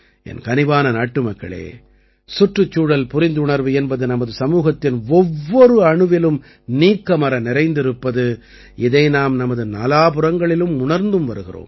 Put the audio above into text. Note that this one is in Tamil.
கனிவான நாட்டுமக்களே சுற்றுச்சூழல் புரிந்துணர்வு பது நமது சமூகத்தின் ஒவ்வொரு அணுவிலும் நீக்கமற நிறைந்திருப்பது இதை நாம் நமது நாலாபுறங்களிலும் உணர்ந்தும் வருகிறோம்